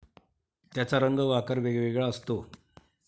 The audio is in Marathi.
त्याचा रंग व आकार वेगवेगळा असतो.